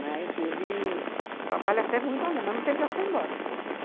Mas ele trabalha até muito além, mas não tem pressa para ir embora. Uhum.